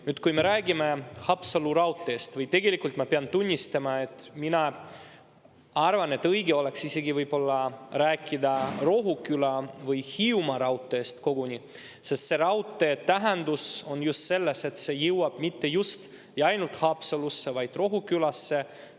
Nüüd, kui me räägime Haapsalu raudteest – tegelikult ma pean tunnistama, et mina arvan, et võib-olla õige oleks rääkida isegi Rohuküla või Hiiumaa raudteest, sest selle raudtee tähendus on just selles, et see jõuab mitte ainult Haapsalusse, vaid Rohukülasse.